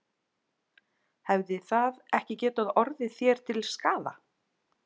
Hefði það ekki getað orðið þér til skaða?